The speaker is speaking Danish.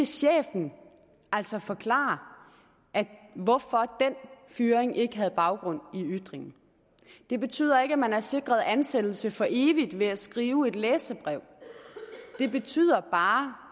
chefen altså forklare hvorfor den fyring ikke havde baggrund i ytringen det betyder ikke at man er sikret ansættelse for evigt ved at skrive et læserbrev det betyder bare